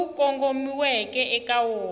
lowu ku kongomisiweke eka wona